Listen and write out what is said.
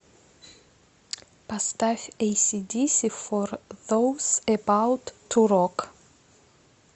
поставь эйси диси фор зоус эбаут ту рок